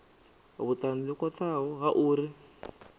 vhutanzi ho khwathaho ha uri